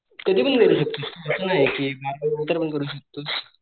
कधी पण करू शकतोस असं नाहीये कि बारावी नंतर पण करू शकतो